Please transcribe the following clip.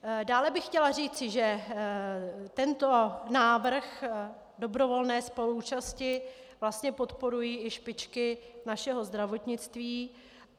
Dále bych chtěla říci, že tento návrh dobrovolné spoluúčasti vlastně podporují i špičky našeho zdravotnictví.